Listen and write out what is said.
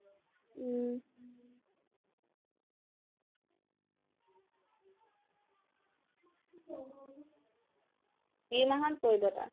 উম কি মাহত পৰিব তাৰ